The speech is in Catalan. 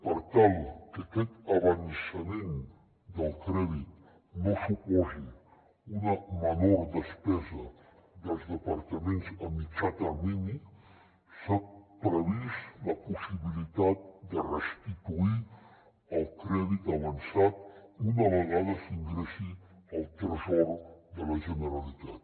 per tal que aquest avançament del crèdit no suposi una menor despesa dels departaments a mitjà termini s’ha previst la possibilitat de restituir el crèdit avançat una vegada s’ingressi al tresor de la generalitat